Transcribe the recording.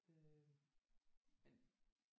Øh men